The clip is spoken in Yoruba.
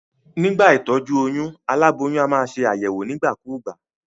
Nígbà ìtójú oyún, aláboyún a maa se àyèwò nígbà kúgbà